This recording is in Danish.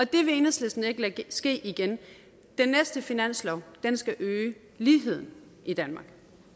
det vil enhedslisten ikke lade ske igen den næste finanslov skal øge ligheden i danmark